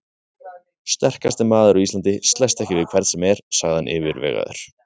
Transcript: Sterkasti maður á Íslandi slæst ekki við hvern sem er, sagði hann yfirvegaður.